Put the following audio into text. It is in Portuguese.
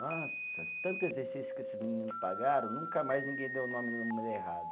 Nossa, tanto exercício que esses menino pagaram, nunca mais ninguém deu o nome e número errado.